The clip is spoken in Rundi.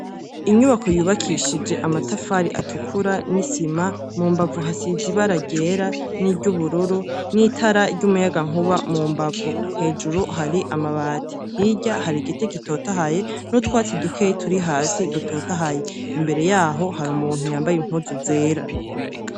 Inyubako yubakishije amatafari atukura n'isima. Mu mbavu hasize ibara ryera n'iryubururu, n'itara ry'umuyagankuba mu mbavu ; hejuru hari amabati. Hirya hari igiti gitotahaye n'utwatsi dukeyi turi hasi dutotahaye. Imbere y'aho hari umuntu yambaye impuzu zera.